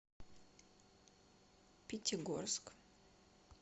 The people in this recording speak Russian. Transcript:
пятигорск